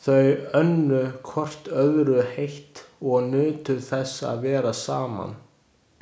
Þau unnu hvort öðru heitt og nutu þess að vera saman.